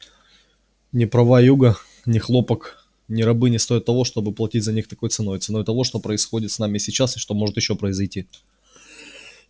ни права юга ни хлопок ни рабы не стоят того чтобы платить за них такой ценой ценой того что происходит с нами сейчас и что может ещё произойти